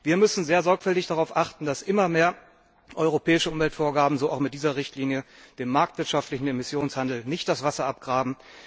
Wir müssen sehr sorgfältig darauf achten, dass immer mehr europäische Umweltvorgaben so auch in dieser Richtlinie dem marktwirtschaftlichen Emissionshandel nicht das Wasser abgraben.